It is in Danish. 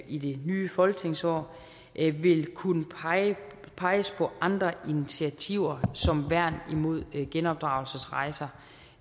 i det nye folketingsår vil kunne peges på andre initiativer som værn imod genopdragelsesrejser